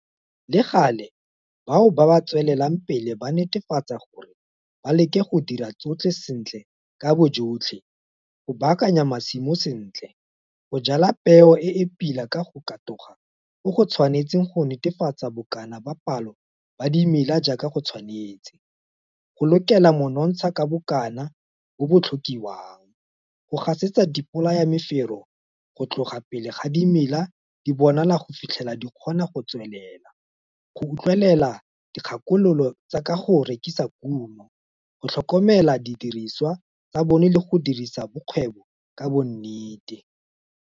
Le gale, bao ba ba tswelelang pele ba netefatsa gore ba leke go dira tsotlhe sentle ka boyotlhe go baakanya masimo sentle, go jwala peo e e pila ka go katoga go go tshwanetseng go netefatsa bokana ba palo ba dimela jaaka go tshwanetse, go lokela monontsha ka bokana bo bo tlhokiwang, go gasetsa dibolayamefero go tloga pele ga di mela di bonala go fitlhela di kgona go tswelela, go utlwelela dikgakololo tsa ka go rekisa kumo, go tlhokomela didiriswa tsa bona le go dirisa bokgwebo ka bonnete.